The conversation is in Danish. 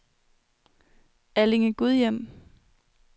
Allinge-Gudhjem